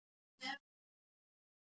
Höfðabraut